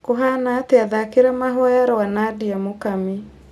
kũhana atĩa thaakĩra mahoya rwa nadia mukami